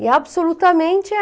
E absolutamente